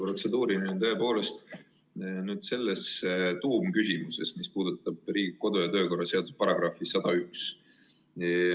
Protseduuriline tõepoolest, aga nüüd selles tuumküsimuses, mis puudutab Riigikogu kodu- ja töökorra seaduse § 101.